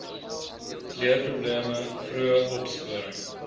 leerprobleme vroeë opsporing